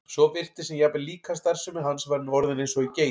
svo virtist sem jafnvel líkamsstarfsemi hans væri nú orðin eins og í geit.